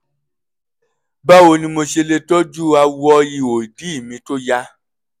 báwo ni mo ṣe lè tọ́jú awọ ihò ìdí mi tó ya?